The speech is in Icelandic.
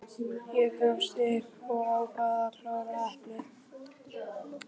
Ég gafst upp og ákvað að klára eplið.